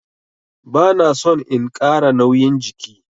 Bana son in Kara nauyin jiki.